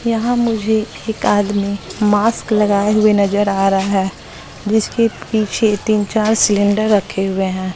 यहां मुझे एक आदमी मास्क लगाए हुए नजर आ रहा है जिसके पीछे तीन चार सिलेंडर रखे हुए हैं।